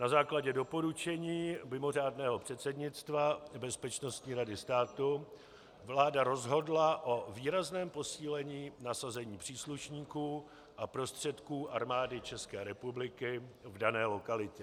Na základě doporučení mimořádného předsednictva Bezpečnostní rady státu vláda rozhodla o výrazném posílení nasazení příslušníků a prostředků Armády České republiky v dané lokalitě.